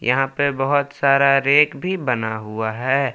यहां पे बहोत सारा रेक भी बना हुआ है।